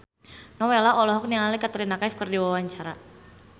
Nowela olohok ningali Katrina Kaif keur diwawancara